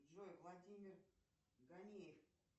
джой владимир ганеев